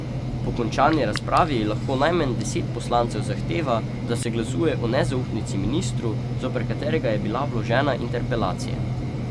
Po končani razpravi lahko najmanj deset poslancev zahteva, da se glasuje o nezaupnici ministru, zoper katerega je bila vložena interpelacija.